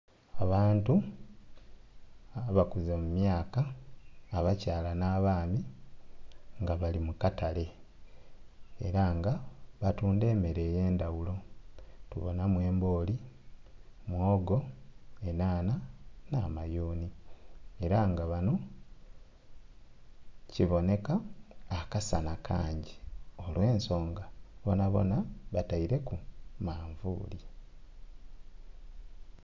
Abantu abakuze mu myaka, abakyala nh'abaami nga bali mu katale, era nga batunda emmere ey'endhaghulo. Tubonamu embooli, mwogo, enhanha nh'amayuni. Era nga ghanho kibonheka akasana kangi olw'ensonga bonabona bataileku manvuuli.